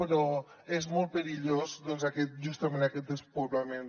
però és molt perillós justament aquest despoblament